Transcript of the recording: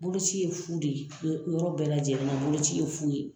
Boloci ye fu de ye yɔ yɔrɔ bɛɛ lajɛlen na boloci ye fu ye